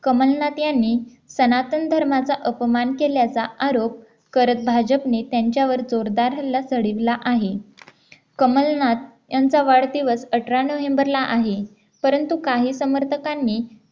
कमलनाथ यांनी सनातन धर्माचा अपमान केल्याचा आरोप करत भाजपने त्यांच्यावर जोरदार हल्ला चढवला आहे कमलनाथ यांचा वाढदिवस अठरा नोव्हेंबरला आहे परंतु काही समर्थकांनी